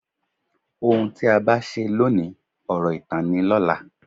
Ohun tí a bá ṣe ló òní, ọ̀rọ̀ ìtàn ni lọ́la.